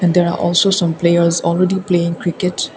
there are also some players already playing cricket.